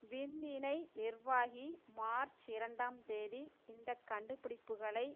win இணை நிர்வாகி March இரண்டாம் தேதி இந்த கண்டுபிடிப்புக்களை